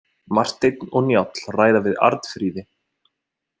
Marteinn og Njáll ræða við Arnfríði.